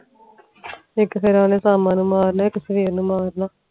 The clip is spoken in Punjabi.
ਇਕ ਗਿਰਦਾ ਓਹਨੇ ਸ਼ਮ ਨੂੰ ਮਾਰਨਾ ਇਕ ਸਵੇਰ ਨੂੰ ਮਾਰਨਾ